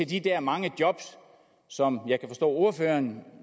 de der mange job som jeg kan forstå ordføreren